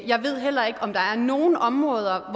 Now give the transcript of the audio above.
jeg ved heller ikke om der er nogen områder